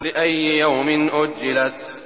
لِأَيِّ يَوْمٍ أُجِّلَتْ